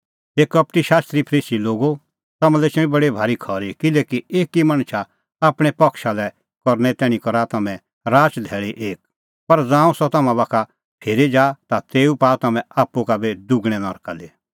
हे कपटी शास्त्री फरीसी लोगो तम्हां लै एछणी बडी भारी खरी किल्हैकि एकी मणछा आपणैं पक्षा लै करने तैणीं करा तम्हैं राचधैल़ी एक पर ज़ांऊं सह तम्हां बाखा फिरी जा ता तेऊ पाआ तम्हैं आप्पू का दुगणैं नरका दी